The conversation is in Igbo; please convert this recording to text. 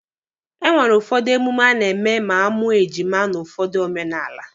E nwere ụfọdụ emume a na-eme ma a mụọ ejima n'ụfọdụ omenala.